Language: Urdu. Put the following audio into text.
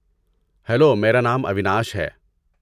ہیلو، میرا نام اویناش ہے۔